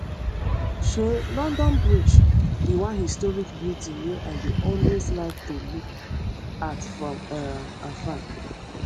um london bridge be one historic beauty wey i dey always like to look at from um afar